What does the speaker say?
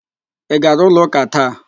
Ị gara ụlọ ụ́kà taa?